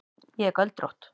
Ég er göldrótt.